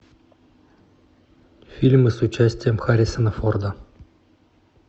фильмы с участием харрисона форда